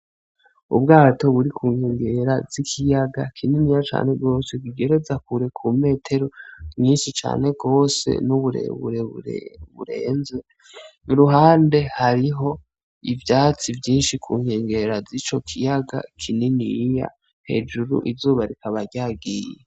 Ubwato buri kunkengera z'ikiyaga kininiya cane gose kigereza kure ku metero nyinshi cane gose n'uburebure burenze, iruhande hariho ivyatsi vyinshi ku nkengera zico kiyaga kininiya hejuru izuba rikaba ryagiye.